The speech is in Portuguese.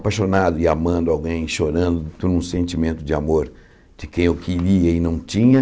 apaixonado e amando alguém, chorando por um sentimento de amor de quem eu queria e não tinha.